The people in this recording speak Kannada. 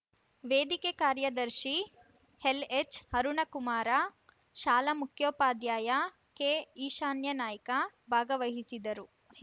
ವೇದಿಕೆ ಕಾರ್ಯದರ್ಶಿ ಎಲ್‌ಎಚ್‌ಅರುಣಕುಮಾರ ಶಾಲೆ ಮುಖ್ಯೋಪಾಧ್ಯಾಯ ಕೆಈಶಾನ್ಯನಾಯ್ಕ ಭಾಗವಹಿಸಿದರು